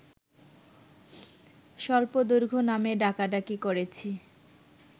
স্বল্পদৈর্ঘ্য নামে ডাকাডাকি করেছি